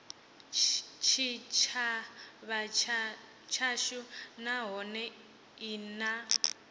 tshitshavha tshashu nahone i na